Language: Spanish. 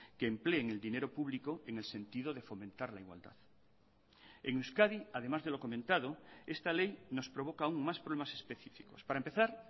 que empleen el dinero público en el sentido de fomentar la igualdad en euskadi además de lo comentado esta ley nos provoca aún más problemas específicos para empezar